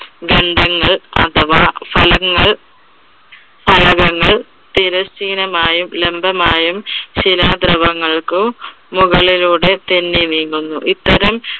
ഗന്ധങ്ങൾ അഥവാ ഫലങ്ങൾ ഫലകങ്ങൾ തിരശ്ശിനമായും ലംബമായും ശിലാദ്രുവങ്ങൾക്ക് മുകളിലൂടെ തെന്നി നീങ്ങുന്നു. ഇത്തരം